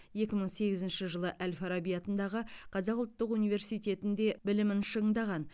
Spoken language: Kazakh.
екі мың сегізінші жылы әл фараби атындағы қазақ ұлттық университетінде білімін шыңдаған